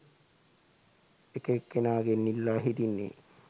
එක එක්කෙනාගෙන් ඉල්ලා හිටින්නේ?